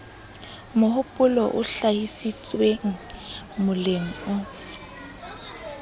mohopolo o hlahisitsweng moleng o